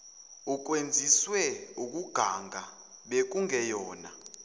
ukwenziswe ukuganga bekungeyona